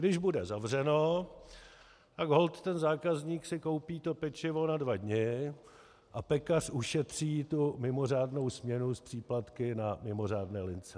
Když bude zavřeno, tak holt ten zákazník si koupí to pečivo na dva dny a pekař ušetří tu mimořádnou směnu s příplatky na mimořádné lince.